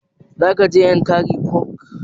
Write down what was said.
Za ka je yankari park?